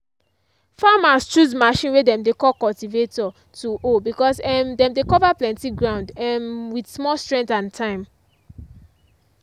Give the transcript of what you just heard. farmers choose machine way dem dey call cultivator to hoe because um dem dey cover plenty ground um with small strength and time.